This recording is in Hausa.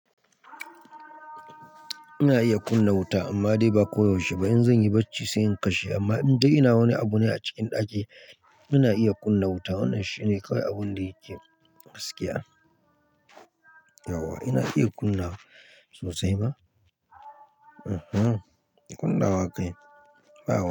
Ina iya kunna wuta amma dai ba koyaushe ba. In zan yi bacci sai in kashe amma idan ina wani abu ne a cikin ɗaki, ina iya kunna wuta. Wannan shi ne kawai abun da yake gaskiya. Yau wa? Ina iya kunna sosai ba? Uhun, kunna wa kai bau.